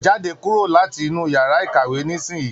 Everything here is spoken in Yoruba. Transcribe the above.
Jáde kúrò láti inú yàrá ìkàwé nisinyi!